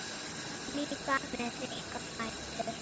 Líka með þykka fætur.